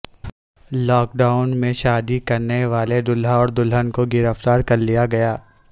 lock down میں شادی کرنیوالے دلہا اور دلہن کو گرفتار کرلیا گیا